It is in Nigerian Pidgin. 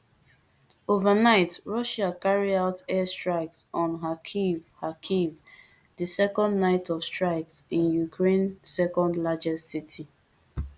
overnight russia carry out air strikes on kharkiv kharkiv di second night of strikes in ukraine secondlargest city